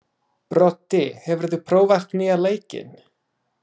Broddi, hefur þú prófað nýja leikinn?